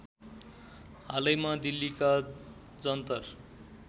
हालैमा दिल्लीका जन्तर